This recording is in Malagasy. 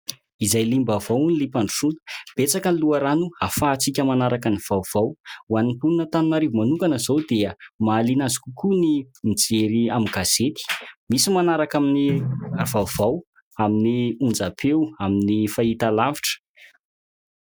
Izay liam-baovao hono liam-pandrosoana. Betsaka ny loharano hahafahantsika manaraka ny vaovao. Hoan'ny mponin'Antananarivo manokana izao dia mahaliana azy kokoa ny mijery amin'ny gazety, misy manaraka amin'ny vaovao amin'ny onjam-peo, amin'ny fahitalavitra.